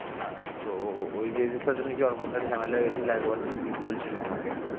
হ্যাঁ তো ওই মেয়েটার সাথে নাকি অর্পণ দার ঝামেলা লেগেছিল একবার নাকি বলছিল আমাকে